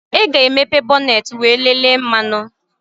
Ị ga-emepe bọneetị wee lelee mmanụ